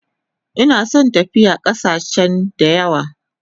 Ina son tafiya kasache dayawa